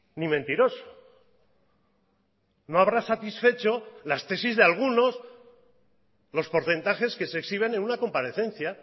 ni mentiroso no habrá satisfecho las tesis de algunos los porcentajes que se exhiben en una comparecencia